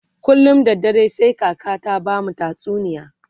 kullum da dare sai kaka ta bamu tatsuniya